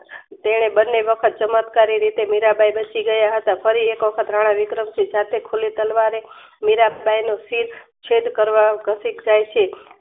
તેને બન્ને વખત ચમત્કારી રીતે મીરાંબાઈ વોશિંગ્ય હતા ફરી એક વખત રાણાવિક્રમ સિંહ સાથે ખુલી તલવારે મીરાંબાઈનો શિર